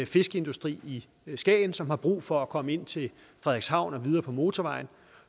fiskeindustrien i skagen som har brug for at komme ind til frederikshavn og videre på motorvejen